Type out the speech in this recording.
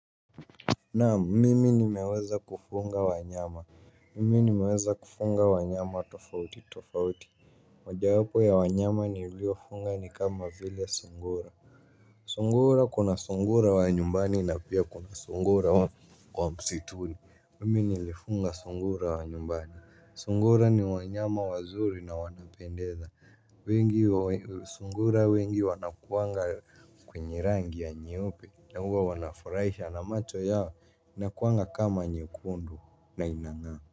Naam, mimi nimeweza kufunga wanyama mimi nimeweza kufunga wanyama tofauti tofauti moja wapo ya wanyama niliofunga ni kama vile sungura sungura kuna sungura wa nyumbani na pia kuna sungura wa msituni mimi nilifunga sungura wa nyumbani sungura ni wanyama wazuri na wanapendeza. Wengi wa sungura wengi wanakuanga kwenye rangi ya nyeupe. Na huwa wanafurahisha na macho yao inakuanga kama nyekundu na inang'aa.